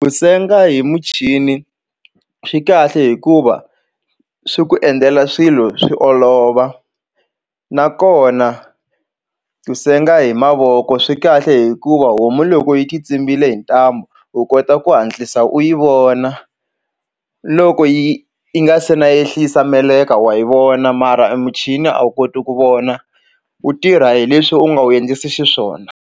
Ku senga hi muchini swi kahle hikuva swi ku endlela swilo swi olova nakona ku senga hi mavoko swi kahle hikuva homu loko yi ti tsimbile hi ntambu u kota ku hatlisa u yi vona loko yi yi nga se na ehlisa meleka wa hi vona mara emuchini a wu koti ku vona wu tirha hi leswi u nga wu endlisi xiswona.